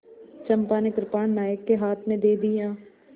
चंपा ने कृपाण नायक के हाथ में दे दिया